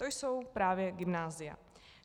To jsou právě gymnázia.